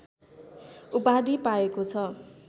उपाधि पाएको छ